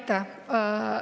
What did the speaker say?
Aitäh!